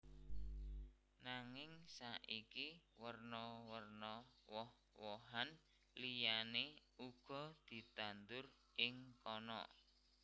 Nanging saiki werna werna woh wohan liyané uga ditandur ing kana